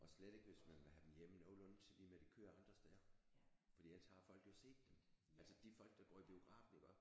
Og slet ikke hvis man vil have dem hjem i nogenlunde til det med de kører andre steder fordi ellers så har folk jo set dem altså de folk der går i biografen iggå